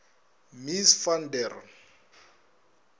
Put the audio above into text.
mies van der